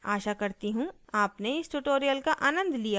आशा करती हूँ अपने इस पर्ल ट्यूटोरियल का आनंद लिया होगा